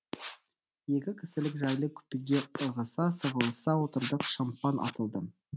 екі кісілік жайлы купеге ығыса сығылыса отырдық шампан атылды